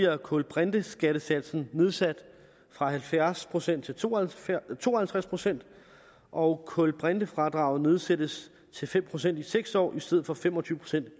at kulbrinteskattesatsen nedsat fra halvfjerds procent til to og to og halvtreds procent og kulbrintefradraget nedsættes til fem procent i seks år i stedet for fem og tyve procent